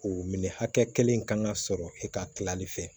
O minɛ hakɛ kelen kan ka sɔrɔ e ka tilali fɛ